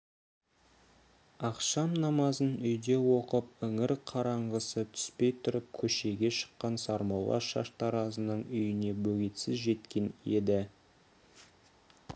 ақшам намазын үйде оқып іңір қараңғысы түспей тұрып көшеге шыққан сармолла шаштаразының үйіне бөгетсіз жеткен еді